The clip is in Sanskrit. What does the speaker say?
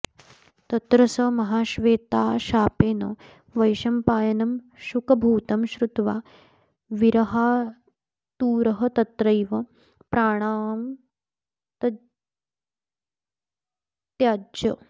तत्र स महाश्वेताशापेन वैशम्पायनं शुकभूतं श्रुत्वा विरहातुरस्तत्रैव प्राणांस्तत्याज